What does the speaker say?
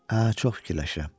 Hə, çox fikirləşirəm.